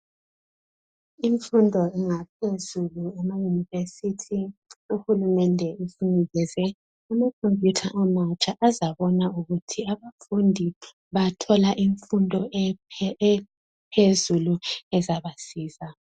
Imfundo engaphezulu emayunivesithi, uhulumende inikeze amakhompuyutha amatsha ezayenza ukuthi abafundi bayathola imfundo ephezulu ezabasiza.